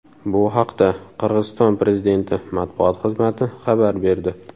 Bu haqda Qirg‘iziston prezidenti matbuot xizmati xabar berdi .